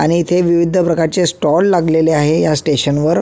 आणि येथे विविध प्रकारचे स्टोल लागलेले आहे या स्टेशन वर --